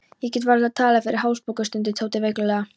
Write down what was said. Ég get varla talað fyrir hálsbólgu, stundi Tóti veiklulega.